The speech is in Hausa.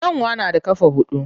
Kyanwa na da ƙafa huɗu.